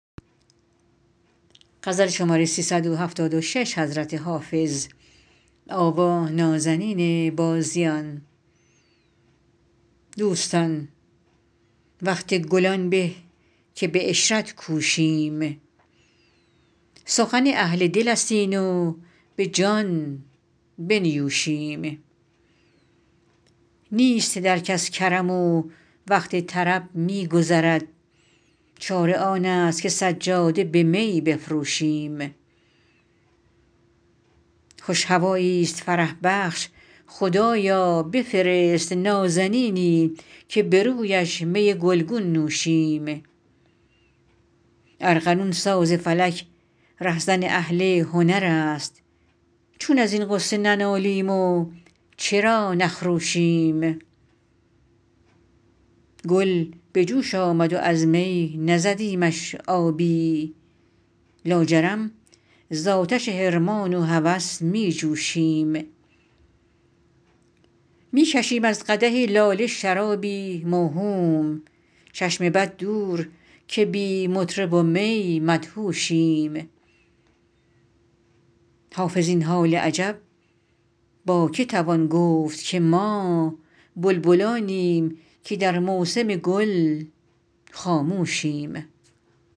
دوستان وقت گل آن به که به عشرت کوشیم سخن اهل دل است این و به جان بنیوشیم نیست در کس کرم و وقت طرب می گذرد چاره آن است که سجاده به می بفروشیم خوش هوایی ست فرح بخش خدایا بفرست نازنینی که به رویش می گل گون نوشیم ارغنون ساز فلک ره زن اهل هنر است چون از این غصه ننالیم و چرا نخروشیم گل به جوش آمد و از می نزدیمش آبی لاجرم زآتش حرمان و هوس می جوشیم می کشیم از قدح لاله شرابی موهوم چشم بد دور که بی مطرب و می مدهوشیم حافظ این حال عجب با که توان گفت که ما بلبلانیم که در موسم گل خاموشیم